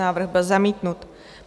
Návrh byl zamítnut.